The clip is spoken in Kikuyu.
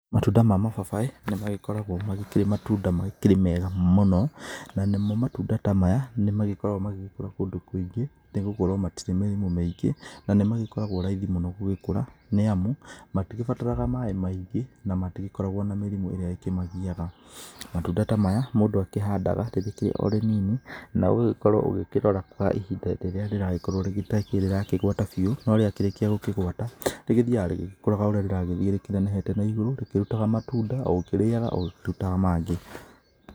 Matunda ma mababaĩ nĩmagĩkoragwo magĩkĩrĩ matunda makĩrĩ mega mũno. Nanĩmo matunda ta maya, nĩmagĩkoragwo magĩgĩkũra kũndũ kũingĩ nĩgũkorwo matirĩ mĩrimũ mĩingĩ, na nĩmagĩkoragwo raithi mũno gũgĩkũra, nĩamu matigĩbataraga maĩ maingĩ, na matigĩkoragwo na mĩrimũ ĩrĩa ĩkĩmagiaga. Matunda ta maya, mũndũ akĩhandaga rĩgĩkĩrĩ o rĩnini, na ũgagĩkorwo ũgĩkĩrora kaa ihinda rĩrĩa rĩragĩkorwo rĩgĩtakĩrĩ rĩrakĩgwata biũ. No rĩakĩrĩkia gũkĩgwata, rĩgĩthiaga rĩgĩkũraga ũrĩa rĩragĩthiĩ rĩkĩnenehete na igũrũ, rĩkĩrutaga matunda o ũkĩrĩaga o rĩkĩrutaga mangĩ.